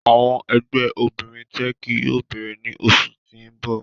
Awọn ẹgbẹ obinrin Teeki yoo beere ni oṣu ti n bọ.